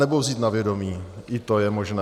Anebo vzít na vědomí, i to je možné.